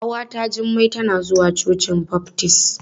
Ƙawata Jummai tana zuwa cocin baftis.